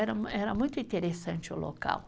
Era muito interessante o local.